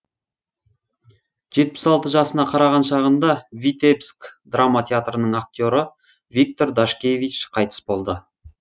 жетпіс алты жасына қараған шағында витебск драма театрының актері виктор дашкевич қайтыс болды